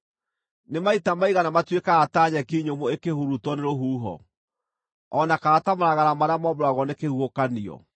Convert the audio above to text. Nĩ maita maigana matuĩkaga ta nyeki nyũmũ ĩkũhurutwo nĩ rũhuho, o na kana ta maragara marĩa mombũragwo nĩ kĩhuhũkanio?